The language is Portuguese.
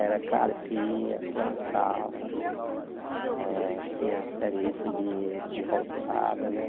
Era carpia, plantava, eh tinha serviço de de roçada, né?